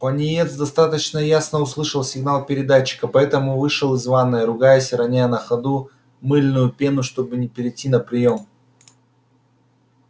пониетс достаточно ясно услышал сигнал передатчика поэтому вышел из ванной ругаясь и роняя на ходу мыльную пену чтобы перейти на приём